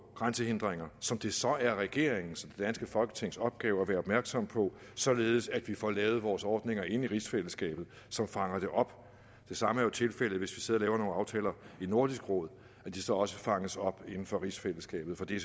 grænsehindringer som det så er regeringens og danske folketings opgave at være opmærksomme på således at vi får lavet vores ordninger inde i rigsfællesskabet som fanger det op det samme er jo tilfældet hvis vi sidder og laver nogle aftaler i nordisk råd at de så også fanges op inden for rigsfællesskabet for det